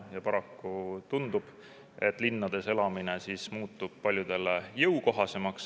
Ja paraku tundub, et paljudele on siis jõukohasem elada linnas.